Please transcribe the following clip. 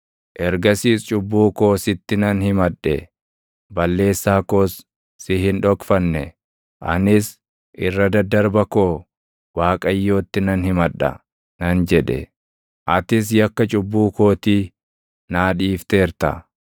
Ergasiis cubbuu koo sitti nan himadhe; balleessaa koos si hin dhokfanne. Anis, “Irra daddarba koo, Waaqayyootti nan himadha” nan jedhe; atis yakka cubbuu kootii, naa dhiifteerta.